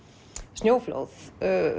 snjóflóð